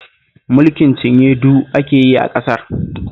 Mulkin cinye-du ake yi a ƙasar